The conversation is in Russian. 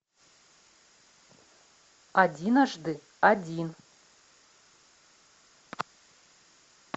одиножды один